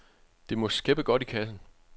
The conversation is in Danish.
Det må skæppe godt i kassen.